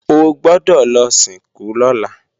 O gbọ́dọ̀ lọ sìnkú lọ́la!